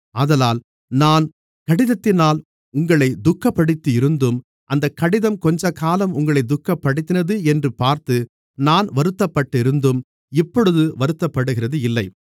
ஆதலால் நான் கடிதத்தினால் உங்களைத் துக்கப்படுத்தியிருந்தும் அந்தக் கடிதம் கொஞ்சகாலம் உங்களைத் துக்கப்படுத்தினது என்று பார்த்து நான் வருத்தப்பட்டிருந்தும் இப்பொழுது வருத்தப்படுகிறது இல்லை